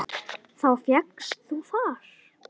Þá fékkst þú far.